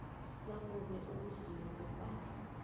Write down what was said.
nakube ukudliwa kwepahla